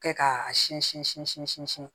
Kɛ k'a sinsin